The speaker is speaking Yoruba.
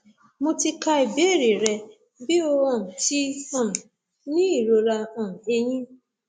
mo ti ka ìbéèrè rẹ bi o um ti um ni irora um eyín